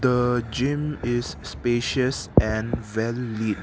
aa gym is spacious and well lit.